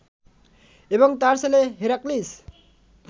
এবং তার ছেলে হেরাক্লিস